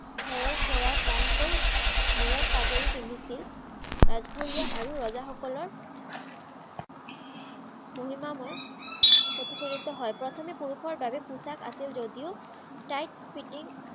ধৰা কৰা টানকৈ মুৰত পাগুৰি পিন্ধিছিল ৰাজঘৰীয়া আৰু ৰজাসকলৰ মহিমাময় প্ৰতিফলিত হয়। প্ৰথমে পুৰুষৰ বাবে পোচাক আছিল যদিও tight fitting